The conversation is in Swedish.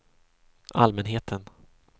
allmänheten